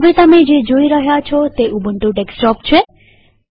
હવે તમે જે જોઈ રહ્યા છો તે ઉબુન્ટુ ડેસ્કટોપ છે